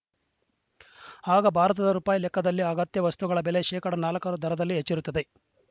ಆಗ ಭಾರತದ ರುಪಾಯಿ ಲೆಕ್ಕದಲ್ಲಿ ಅಗತ್ಯ ವಸ್ತುಗಳ ಬೆಲೆ ಶೇಕಡಾ ನಾಲ್ಕರ ದರದಲ್ಲಿ ಹೆಚ್ಚುಯಿರುತ್ತದೆ